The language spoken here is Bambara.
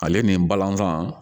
Ale ni balɔntan